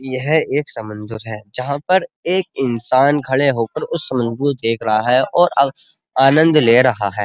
यह एक समंदर है। जहां पर एक इन्सान खड़े होकर उस समंदर को देख रहा है और आनंद ले रहा है।